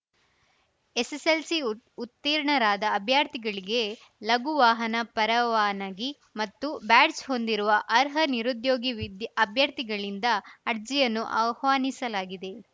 SSLC ಉತ್ ಉತ್ತೀರ್ಣರಾದ ಅಭ್ಯರ್ಥಿಗಳಿಗೆ ಲಘು ವಾಹನ ಪರವಾನಗಿ ಮತ್ತು ಬ್ಯಾಡ್ಜ್‌ ಹೊಂದಿರುವ ಅರ್ಹ ನಿರುದ್ಯೋಗಿ ವಿದ್ ಅಭ್ಯರ್ಥಿಗಳಿಂದ ಅರ್ಜಿಯನ್ನು ಆಹ್ವಾನಿಸಲಾಗಿದೆ